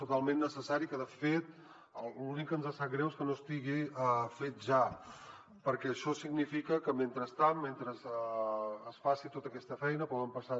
totalment necessari que de fet l’únic que ens sap greu és que no estigui fet ja perquè això significa que mentrestant mentre es faci tota aquesta feina poden passar